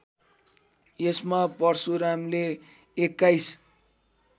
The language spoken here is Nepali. यसमा परशुरामले २१